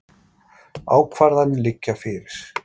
Ákvarðanir liggja ekki fyrir